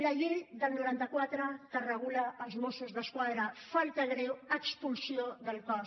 la llei del noranta quatre que regula els mossos d’esquadra falta greu expulsió del cos